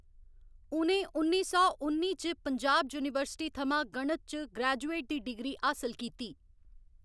उ'नें उन्नी सौ उन्नी च पंजाब यूनीवर्सिटी थमां गणित च ग्रेजुएट दी डिग्री हासल कीती।